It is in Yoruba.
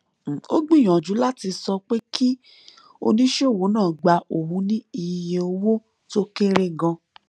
ó gbìyànjú láti sọ pé kí oníṣòwò náà gba òun ní iye owó tó kéré ganan